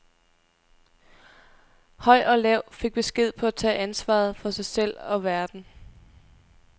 Høj og lav fik besked på at tage ansvaret for sig selv og verden.